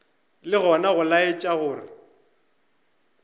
ke gona go laetša go